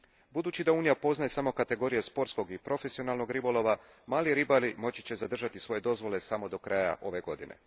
Budući da Unija poznaje samo kategorije sportskog i profesionalnog ribolova, mali ribari moći će zadržati svoje dozvole samo do kraja ove godine.